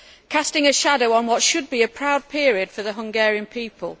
casting a shadow on what should be a proud period for the Hungarian people.